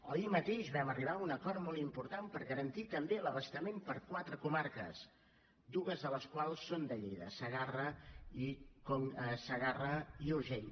o ahir mateix vam arribar a un acord molt important per garantir també l’abastament per a quatre comarques dues de les quals són de lleida la segarra i l’urgell